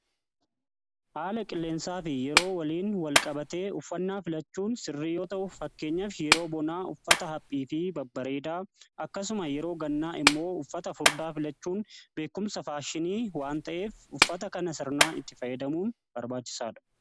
aala qilleensaa fi yeroo waliin wal-qabatee uffannaa filachuun sirriiyoo ta'uuf fakkeenyaf yeroo bonaa uffata haphii fi babbareedaa akkasuma yeroo gannaa immoo uffata furdaa filachuun beekumsa faashinii waan ta'eef uffata kana sirnaa itti fayyadamuun barbaachisaadha